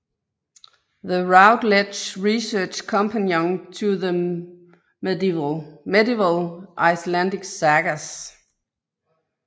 The Routledge Research Companion to the Medieval Icelandic Sagas